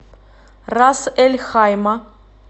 рас эль хайма